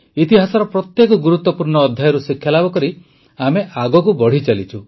ଇତିହାସର ପ୍ରତ୍ୟେକ ଗୁରୁତ୍ୱପୂର୍ଣ୍ଣ ଅଧ୍ୟାୟରୁ ଶିକ୍ଷାଲାଭ କରି ଆମେ ଆଗକୁ ବଢ଼ିଚାଲିଛୁ